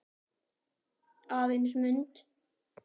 Aðeins mynd.